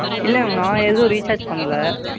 இல்லை Ma'am நான் எதுவும் Recharge பண்ணலை.